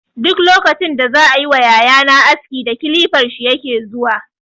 Duk lokacin da za yi ma yaya na aski da kilifar shi yake zuwa.